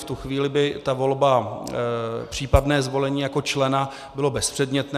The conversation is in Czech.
V tu chvíli by ta volba, případné zvolení jako člena bylo bezpředmětné.